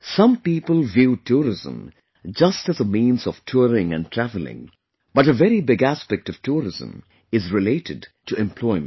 Some people view tourism just as a means of touring and travelling, but a very big aspect of tourism is related to employment